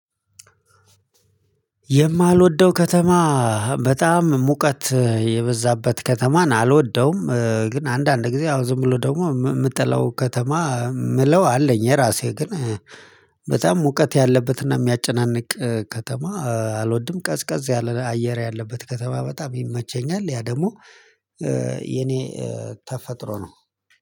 የማልወደው ከተማ በጣም ሙቀት የበዛበት ከተማን አልወደውም። ግን አንዳንድ ጊዜ ያው ዝም ብሎ ደግሞ የምጠላው ከተማ የምለው አለኝ። የራሴ ግን በጣም ሙቀት ያለበትና የሚያጨናንቅ ከተማ አልወድም። ቀዝቀዝ ያለ አየር ያለበት ከተማ በጣም ይመቸኛል። ያ ደግሞ የኔ ተፈጥሮ ነው።